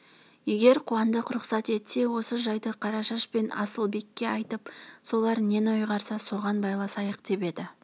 егер қуандық рұқсат етсе осы жайды қарашаш пен асылбекке айтып солар нені ұйғарса соған байласайық деп еді